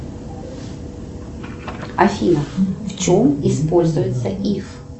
афина в чем используется иф